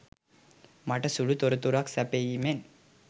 මට සුළු තොරතුරක් සැපයීමෙන්